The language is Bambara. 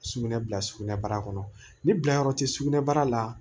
Sugunɛ bila sugunɛbara kɔnɔ ni bilayɔrɔ tɛ sugunɛbara la